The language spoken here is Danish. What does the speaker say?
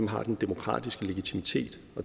har den demokratiske legitimitet